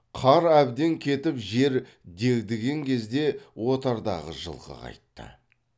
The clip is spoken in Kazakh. қар әбден кетіп жер дегдіген кезде отардағы жылқы қайтты